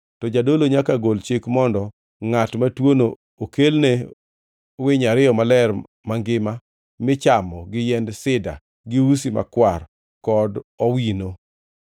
to jadolo nyaka gol chik mondo ngʼat matuono okelne winy ariyo maler mangima michamo gi yiend sida, gi usi makwar kod bad owino.